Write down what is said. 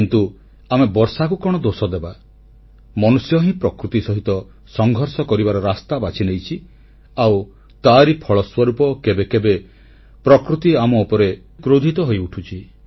କିନ୍ତୁ ଆମେ ବର୍ଷାକୁ କଣ ଦୋଷଦେବା ମନୁଷ୍ୟ ହିଁ ପ୍ରକୃତି ସହିତ ସଂଘର୍ଷ କରିବାର ରାସ୍ତା ବାଛିନେଇଛି ଆଉ ତାରି ଫଳସ୍ୱରୂପ କେବେ କେବେ ପ୍ରକୃତି ଆମ ଉପରେ କ୍ରୋଧିତ ହୋଇଉଠୁଛି